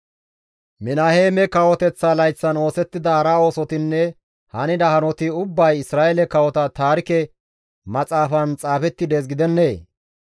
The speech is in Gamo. Minaheeme kawoteththa layththan oosettida hara oosotinne hanida hanoti ubbay Isra7eele kawota taarike maxaafan xaafetti dees gidennee?